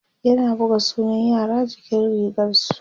yana buga sunan yara jikin rigarsu